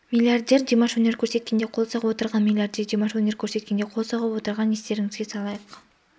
миллиардер димаш өнер көрсеткенде қол соғып отырған миллиардер димаш өнер көрсеткенде қол соғып отырған естеріңізге салайық